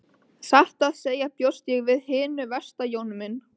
Satt að segja bjóst ég við hinu versta Jón minn.